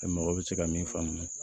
Ni mɔgɔ bɛ se ka min faamu